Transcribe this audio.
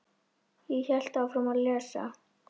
Ég hélt áfram að lesa.